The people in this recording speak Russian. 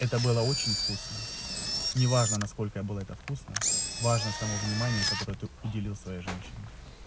это было очень вкусно неважно насколько было это вкусно важно само внимание который удивил своей женщине